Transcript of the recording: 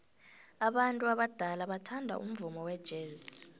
abantu abadala bathanda umvumo wejazz